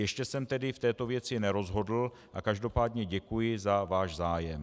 Ještě jsem tedy v této věci nerozhodl a každopádně děkuji za váš zájem.